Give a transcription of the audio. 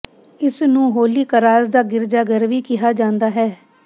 ਇਸ ਨੂੰ holy cross ਦਾ ਗਿਰਜਾਘਰ ਵੀ ਕਿਹਾ ਜਾਂਦਾ ਹੈ